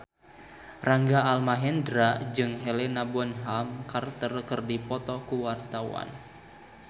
Rangga Almahendra jeung Helena Bonham Carter keur dipoto ku wartawan